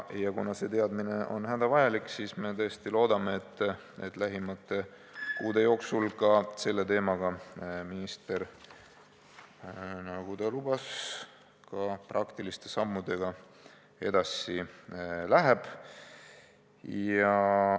Kuna see teadmine on hädavajalik, siis me tõesti loodame, et lähimate kuude jooksul ka selle teema puhul minister, nagu ta lubas, praktiliste sammudega edasi läheb.